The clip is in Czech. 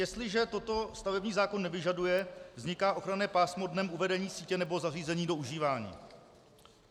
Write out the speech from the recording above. Jestliže toto stavební zákon nevyžaduje, vzniká ochranné pásmo dnem uvedení sítě nebo zařízení do užívání.